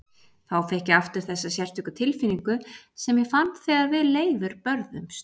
Þá fékk ég aftur þessa sérstöku tilfinningu sem ég fann þegar við Leifur börðumst.